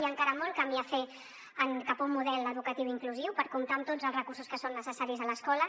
hi ha encara molt camí a fer cap a un model educatiu inclusiu per comptar amb tots els recursos que són necessaris a l’escola